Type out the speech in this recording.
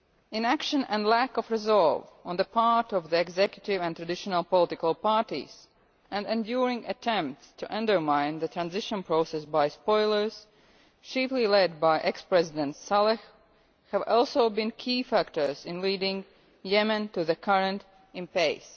Inaction and lack of resolve on the part of the Executive and traditional political parties, and enduring attempts to undermine the transition process by spoilers, chiefly led by ex President Saleh, have also been key factors in leading Yemen to the current impasse.